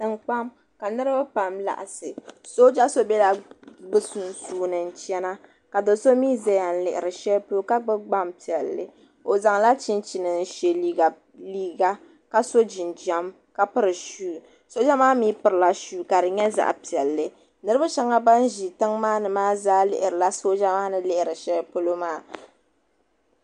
tiŋkpaŋa ka niriba pam lagisi soja so bɛla be sunsuuni n china ka do so mi ka do so mi lihi shɛpolo ka gba be gbanpiɛli o zalachichini shɛliga ka so Jinam ka pɛri suwu soja maa mi pɛrilasuwu ka di nyɛ zaɣ' piɛli niriba shɛba ban bɛ tiŋa maa ni lihirila soja maa ni lihiri shɛpolo maa